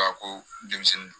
A ko denmisɛnnin